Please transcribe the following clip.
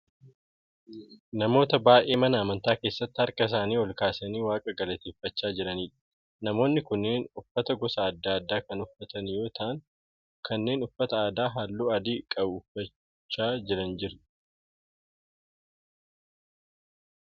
Namoota baay'ee mana amantaa keessatti harka isaanii ol kaasanii waaqa galateeffachaa jiraniidha. Namoonni kunneen uffata gosa adda addaa kan uffatan yoo ta'u kanneen uffata aadaa halluu adii qabu uffachaa jiran jiru.